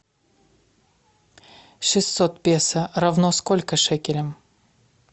шестьсот песо равно сколько шекелям